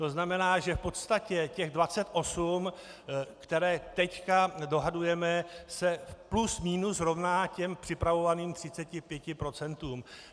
To znamená, že v podstatě těch 28, které nyní dohadujeme, se plus minus rovná těm připravovaným 35 procentům.